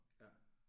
Ja